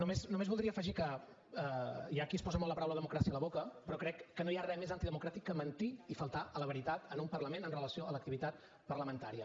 no només voldria afegir que hi ha qui es posa molt la paraula democràcia a la boca però crec que no hi ha re més antidemocràtic que mentir i faltar a la veritat en un parlament amb relació a l’activitat parlamentària